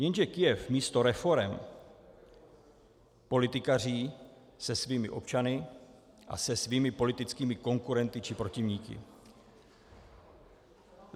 Jenže Kyjev místo reforem politikaří se svými občany a se svými politickými konkurenty či protivníky.